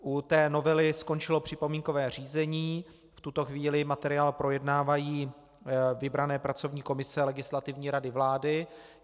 U té novely skončilo připomínkové řízení, v tuto chvíli materiál projednávají vybrané pracovní komise Legislativní rady vlády.